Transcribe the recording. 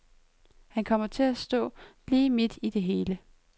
Han kommer til at stå lige midt i det hele.